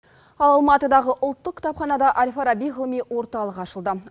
ал алматыдағы ұлттық кітапханада әл фараби ғылыми орталығы ашылды